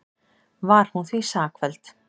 Var hún því sakfelld